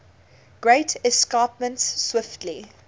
great escarpment swiftly